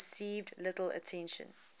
received little attention